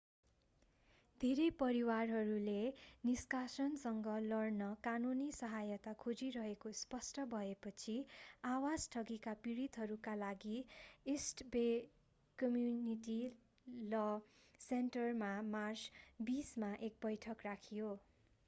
धेरै परिवारहरूले निष्कासनसँग लड्न कानूनी सहायता खोजिरहेको स्पष्ट भएपछि आवास ठगीका पीडितहरूका लागि इस्ट बे कम्युनिटी ल सेन्टरमा मार्च 20 मा एक बैठक राखियो